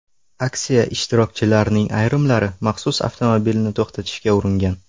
Aksiya ishtirokchilarining ayrimlari maxsus avtomobilni to‘xtatishga uringan.